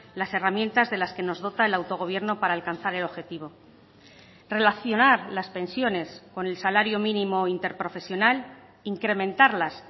las herramientas de las que nos dota el autogobierno para alcanzar el objetivo relacionar las pensiones con el salario mínimo interprofesional incrementarlas